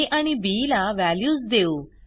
आ आणि बी ला व्हॅल्यूज देऊ